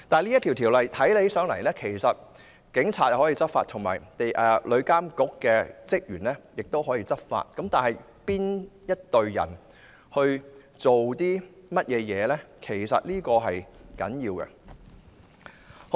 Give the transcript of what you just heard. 在《條例草案》之下，警察可以執法，旅監局職員也可以執法，因此須清楚了解他們各自的權責。